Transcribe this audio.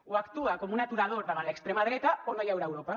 o actua com un aturador davant l’extrema dreta o no hi haurà europa